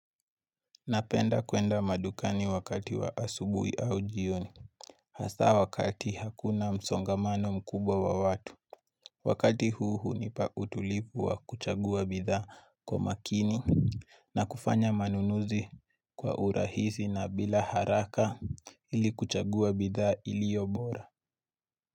Napenda kwenda madukani wakati wa asubui au jioni. Hasaa wakati hakuna msongamano mkubwa wa watu. Wakati huu hunipa utulivu wa kuchagua bidhaa kwa makini na kufanya manunuzi kwa urahisi na bila haraka ili kuchagua bidhaa iliyo bora.